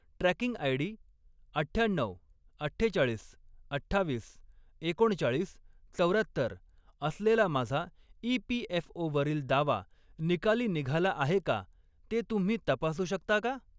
Tracking ID. अठ्ठ्याण्णऊ, अठ्ठेचाळीस, अठ्ठावीस, एकोणचाळीस, चौर्यात्तर असलेला माझा ई.पी.एफ.ओ.वरील दावा निकाली निघाला आहे का ते तुम्ही तपासू शकता का?